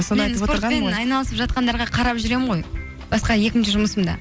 айналысып жатқандарға қарап жүремін ғой басқа екінші жұмысымда